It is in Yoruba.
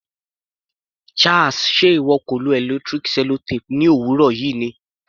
Charles, ṣe ìwọ kò lo electric sellotape ní òwúrọ̀ yìí ni?